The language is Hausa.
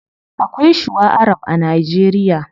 Akwai shuwa arab a nigeria